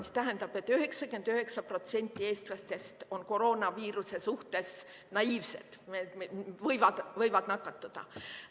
See tähendab, et 99% eestlastest on koroonaviiruse suhtes naiivsed, võivad nakatuda.